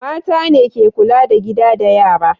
Mata ne ke kula da gida da yara.